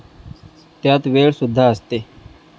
त्यात वेळ सुद्धा असते.